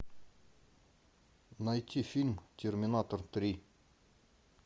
найти фильм терминатор три